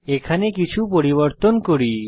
এখানে কিছু পরিবর্তন করি